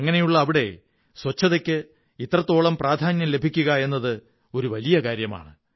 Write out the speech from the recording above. അങ്ങനെയുള്ള അവിടെ ശുചിത്വത്തിന് ഇത്രത്തോളം പ്രാധാന്യം ലഭിക്കുക എന്നത് വലിയ ഒരു കാര്യമാണ്